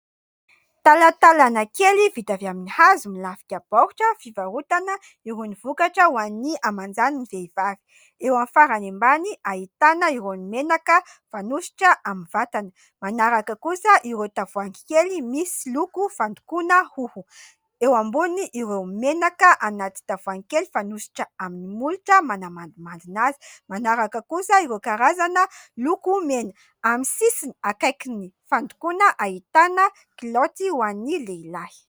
Talatalana kely vita avy amin'ny hazo milafika baoritra fivarotana irony vokatra ho an'ny hamanjan'ny vehivavy. Eo amin'ny farany ambany ahitana irony menaka fanosotra amin'ny vatana, manaraka kosa ireo tavoahangy kely misy loko fandokoana hoho, eo ambony ireo menaka anaty tavoahangy kely fanosotra amin'ny molotra manamandimandina azy, manaraka kosa ireo karazana lokomena, amin'ny sisiny akaikin'ny fandokoana ahitana kilaoty ho an'ny lehilahy.